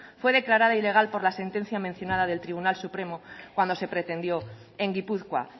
fue declarada ilegal por la sentencia mencionada del tribunal supremo cuando se pretendió en gipuzkoa